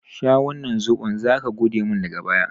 Sha wannan zoɓon! zaka godemin daga baya.